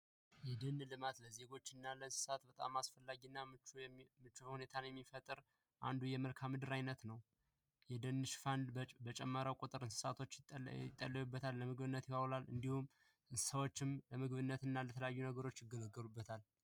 የደን ልማት ለዜጎች እና ለሀገር ምቹ ሁኔታን የሚፈጥር አንዱ የመልካምድር አይነት ነው። የደን ሽፋን በጨመረ ቁጥር እንስሳቶች ይጠለሉበታል። እንዲሁም እንሰሳዎቹም ለምግብነት እና ለተለያየ ነገር ይገለገሉበታል።